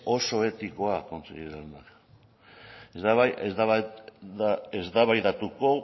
oso etikoa kontseilari jauna ez dugu eztabaidatuko